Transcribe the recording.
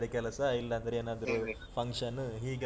ಬೇರೆ ಕೆಲಸ ಇಲ್ಲಾಂದ್ರೆ ಏನಾದ್ರು function ಹೀಗೆಲ್ಲಾ.